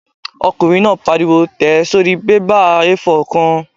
Ọkùnrin náà pariwo "tẹ̀ ẹ́ sórí bébà A4 kan!"